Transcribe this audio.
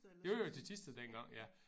Jo jo til Thisted dengang ja